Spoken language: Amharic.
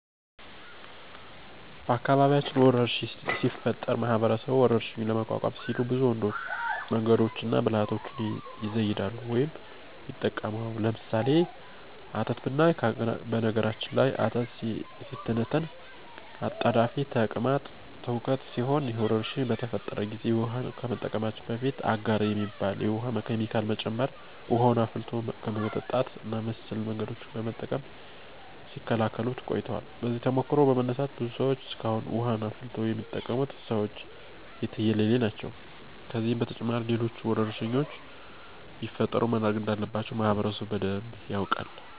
በአካባቢያችን ወረርሽኝ ሲፈጠር ማህበረሰቡ ወረርሽኙን ለመቋቋም ሲሉ ብዙ መንገዶችንና ብልሀቶችን ይዘይዳሉ ወይም ይጠቀማሉ። ለምሳሌ፦ አተት ብናይ በነገራችን ላይ አተት ሲተነተን አጣዳፊ ተቅማጥ ትውከት ሲሆን ይህ ወረርሽኝ በተፈጠረ ጊዜ ውሀን ከመጠቀማችን በፊት አጋር የሚባል የውሀ ኬሚካል መጨመር፣ ውሀን አፍልቶ በመጠጣት እና መሰል መንገዶችን በመጠቀም ሲከላከሉት ቆይተዋል። ከዚህ ተሞክሮ በመነሳት ብዙ ሰዎች እስካሁን ውሀን አፍልቶ የሚጠቀሙት ሰዎች የትየለሌ ናቸው። ከዚህም በተጨማሪ ሌሎች ወረርሽኞች ቢፈጠሩ ምን ማድረግ እንዳለበት ማህበረሰቡ በደንብ ያውቃል።